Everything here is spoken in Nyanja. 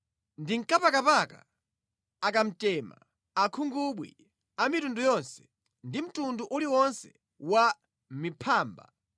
nankapakapa, akamtema, akhungubwi a mitundu yonse, ndi mtundu uliwonse wa miphamba,